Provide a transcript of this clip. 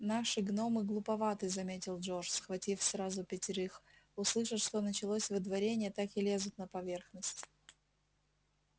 наши гномы глуповаты заметил джордж схватив сразу пятерых услышат что началось выдворение так и лезут на поверхность